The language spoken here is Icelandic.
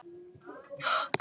Þeir ætluðu að hrekkja okkur